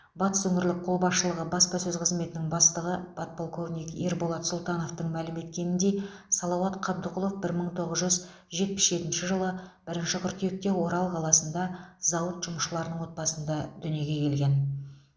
батыс өңірлік қолбасшылығы баспасөз қызметінің бастығы подполковник ерболат сұлтановтың мәлім еткеніндей салауат қабдықұлов бір мың тоғыз жүз жетпіс жетінші жылы бірінші қыркүйекте орал қаласында зауыт жұмысшыларының отбасында дүниеге келген